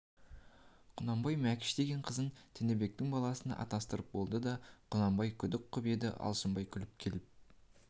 құнанбай мәкіш деген қызын тінібектің баласына атастыратын болды деп құнанбай күдік қып еді алшынбай күліп келіп